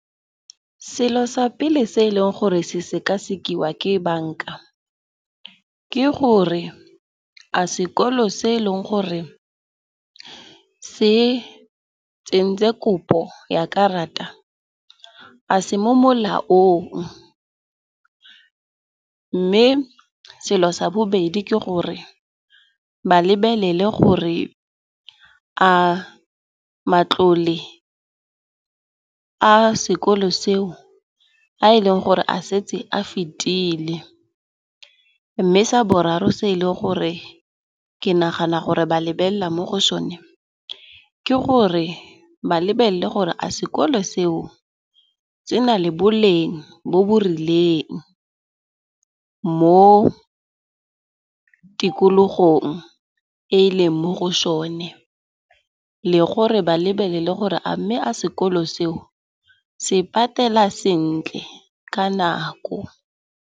Selo sa pele se e leng gore se sekasekiwa ke banka, ke gore a sekolo se e leng gore se tsentse kopo ya karata, a se mo molaong? Mme selo sa bobedi ke gore ba lebelele gore a matlole a sekolo seo a e leng gore a setse a fetile. Mme sa boraro se e leng gore ke nagana gore ba lebelela mo go sone, ke gore ba lebelele gore a sekolo seo se na le boleng bo bo rileng mo tikologong e e leng mo go sone. Le gore ba lebelele le gore a mme a sekolo seo se patela sentle ka nako.